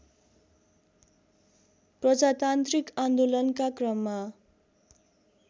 प्रजातान्त्रिक आन्दोलनका क्रममा